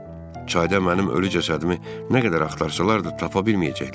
Çayda mənim ölü cəsədimi nə qədər axtarsalar da, tapa bilməyəcəklər.